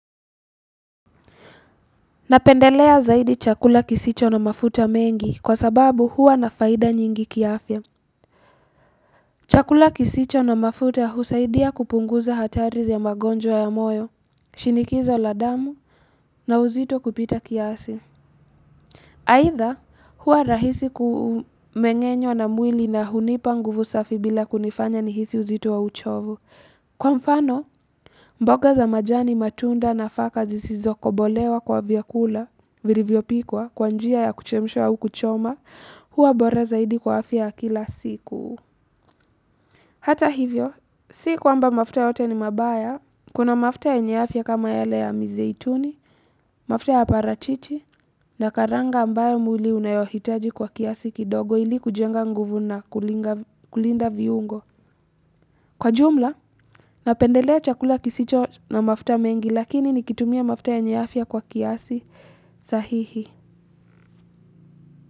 Napendelea zaidi chakula kisicho na mafuta mengi kwa sababu huwa na faida nyingi kiafya. Chakula kisicho na mafuta husaidia kupunguza hatari ya magonjwa ya moyo, shinikizo la damu, na uzito kupita kiasi. Either huwa rahisi kumengenywa na mwili na hunipa nguvu safi bila kunifanya nihisi uzito wa uchovu. Kwa mfano, mboga za majani matunda nafaka zisizo kobolewa kwa vyakula, vilivyopikwa kwa njia ya kuchemshwa au kuchoma huwa bora zaidi kwa afya ya kila siku. Hata hivyo, si kwamba mafuta yote ni mabaya kuna mafuta yenye afya kama yale ya mizaituni, mafuta ya parachichi na karanga ambayo mwili unayohitaji kwa kiasi kidogo ili kujenga nguvu na kulinda viungo. Kwa jumla, napendelea chakula kisicho na mafuta mengi lakini nikitumia mafuta yenye afya kwa kiasi sahihi.